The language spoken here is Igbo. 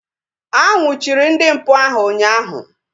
A nnwuchiri ndị mpụ ahu ụnyaahụ